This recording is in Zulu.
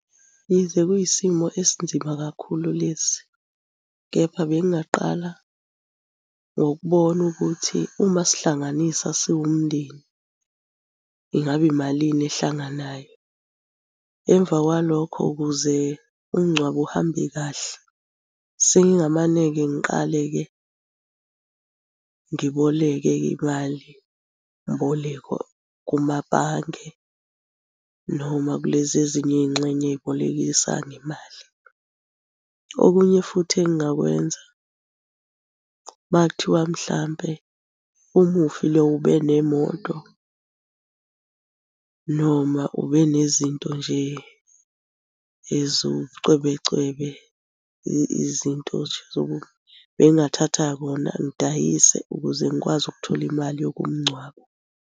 Yize kuyisimo esinzima kakhulu lesi, kepha bengingaqala ngokubona ukuthi uma sihlanganisa siwumndeni ingabe malini ehlanganayo. Emva kwalokho ukuze umngcwabo uhambe kahle, sengingamane-ke ngiqale-ke ngiboleke-ke imalimboleko kumabhange noma kulezi ezinye iy'ngxenye ezibolekisa ngemali. Okunye futhi engingakwenza makuthiwa mhlampe umufi lowo ube nemoto noma ube nezinto nje eziwubucwebecwebe, izinto nje bengingathatha kona ngidayise ukuze ngikwazi ukuthola imali yokumngcwaba.